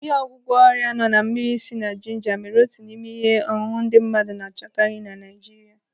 Ịhe ọgwụgwọ ọrịa nọ na mmiri sị na jinja mere otu n'ime ihe ọṅụṅụ ndị mmadụ na-achọkari na Naijiria.